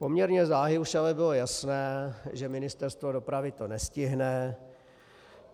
Poměrně záhy už ale bylo jasné, že Ministerstvo dopravy to nestihne.